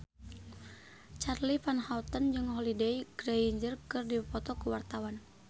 Charly Van Houten jeung Holliday Grainger keur dipoto ku wartawan